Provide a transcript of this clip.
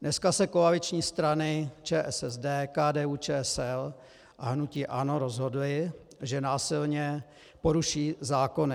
Dneska se koaliční strany ČSSD, KDU-ČSL a hnutí ANO rozhodly, že násilně poruší zákony.